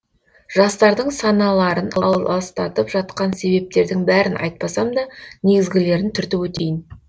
жастардың саналарын аластатып жатқан себептердің бәрін айтпасам да негізгілерін түртіп өтейін